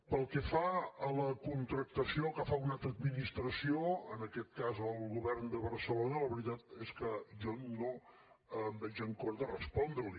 pel que fa a la contractació que fa una altra administració en aquest cas el govern de barcelona la veritat és que jo no em veig amb cor de respondre li